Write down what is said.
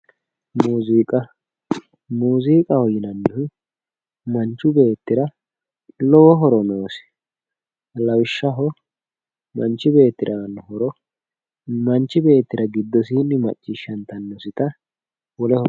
muuziiqa, muuziiqaho yinannihu manchu beettira lowo horo noosi lawishshaho, manchi beetira aanno horo manchu beettira giddosiinni maccciishshantannosita wole.